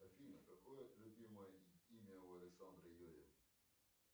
афина какое любимое имя у александры юрьевны